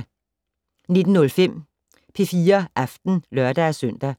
19:05: P4 Aften (lør-søn)